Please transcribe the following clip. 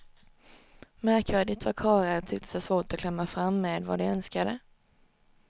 Märkvärdigt vad karlar tycktes ha svårt att klämma fram med vad de önskade.